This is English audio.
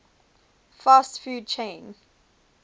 fast food chain